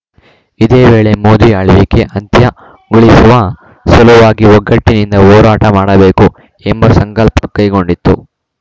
ಇದೇ ವೇಳೆ ಮೋದಿ ಆಳ್ವಿಕೆ ಅಂತ್ಯಗೊಳಿಸುವ ಸಲುವಾಗಿ ಒಗ್ಗಟ್ಟಿನಿಂದ ಹೋರಾಟ ಮಾಡಬೇಕು ಎಂಬ ಸಂಕಲ್ಪ ಕೈಗೊಂಡಿತು